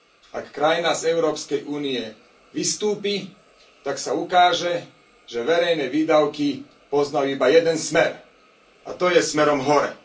Ak krajina z Európskej únie vystúpi, tak sa ukáže, že verejné výdavky poznajú iba jeden smer. A to je smerom hore.